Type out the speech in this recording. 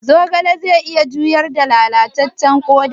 Zogale zai iya juyar da lalacewar koda?